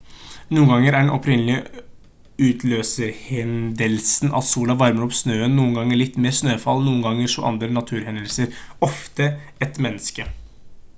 noen ganger er den opprinnelige utløserhendelsen at sola varmer opp snøen noen ganger litt mer snøfall noen ganger også andre naturhendelser ofte et menneske